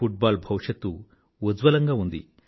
foot ball భవిష్యత్తు ఉజ్వలంగా ఉంది